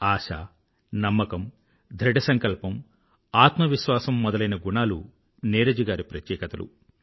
ఆశ నమ్మకం ధృఢసంకల్పం ఆత్మవిశ్వాసం మొదలైన గుణాలు నీరజ్ గారి ప్రత్యేకతలు